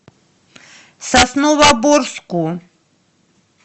сосновоборску